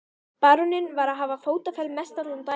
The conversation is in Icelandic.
Baróninn var farinn að hafa fótaferð mestallan daginn.